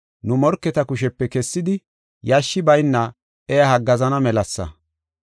nu morketa kushepe kessidi yashshi bayna iya haggaazana melasa.